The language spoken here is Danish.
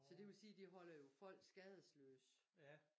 Så det vil sige de holder jo folk skadesløs